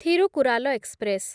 Thirukkural express